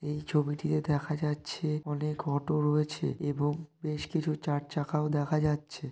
এই ছবিটিতে দেখা যাচ্ছে অনেক অটো রয়েছে এবং বেশ কিছু চার চাকাও দেখা যাচ্ছে।